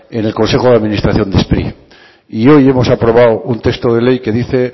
en el consejo de administración de spri y hoy hemos aprobado un texto de ley que dice